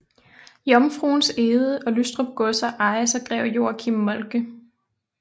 Jomfruens Egede og Lystrup godser ejes af greve Joachim Moltke